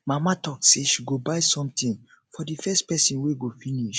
mama talk say she go buy something for the first person wey go finish